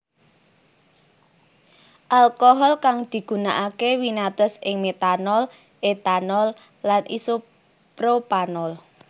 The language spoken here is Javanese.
Alkohol kang digunakake winates ing metanol etanol lan isopropanol